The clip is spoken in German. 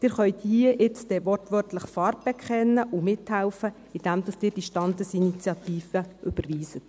Sie können hier wortwörtlich Farbe bekennen und mithelfen, indem Sie diese Standesinitiative überweisen.